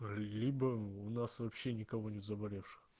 либо у нас вообще никого не заболевших